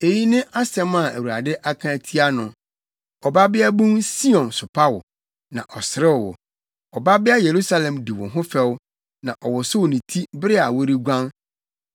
eyi ne asɛm a Awurade aka atia no: “Ɔbabeabun Sion sopa wo, na ɔserew wo. Ɔbabea Yerusalem di wo ho fɛw, na ɔwosow ne ti bere a woreguan.